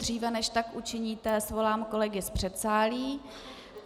Dříve než tak učiníte, svolám kolegy z předsálí.